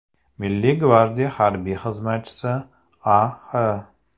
Milliy gvardiya harbiy xizmatchisi A.X.